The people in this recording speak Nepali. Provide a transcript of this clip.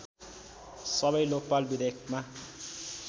सबै लोकपाल विधेयकमा